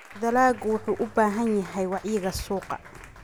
Dalaggu wuxuu u baahan yahay wacyiga suuqa.